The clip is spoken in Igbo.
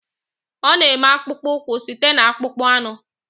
Ọ na-eme akpụkpọ ụkwụ site na akpụkpọ anụ